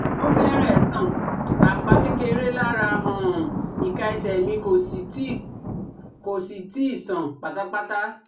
O fẹ́rẹ̀ẹ́ sàn, apá kékeré lára um ika ese mi kò sì tíì kò sì tíì sàn pátápátá